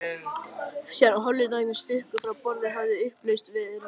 Síðan Hollendingarnir stukku frá borði, hafði upplausn verið á skipinu.